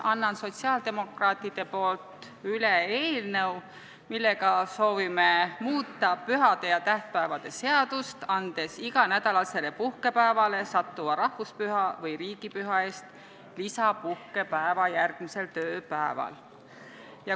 Annan sotsiaaldemokraatide poolt üle eelnõu, millega soovime muuta pühade ja tähtpäevade seadust, andes iganädalasele puhkepäevale sattuva rahvuspüha või riigipüha eest lisapuhkepäeva järgmisel tööpäeval.